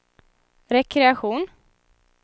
rekreation